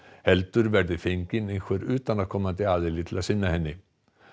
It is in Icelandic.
heldur verði fenginn einhver utanaðkomandi til að sinna henni